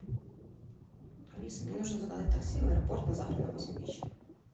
алиса мне нужно заказать такси в аэропорт на завтра на восемь вечера